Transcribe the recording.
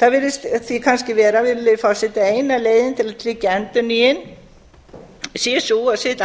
virðulegi forseti það virðist því kannski vera að eina leiðin til að tryggja endurnýjun sé sú að setja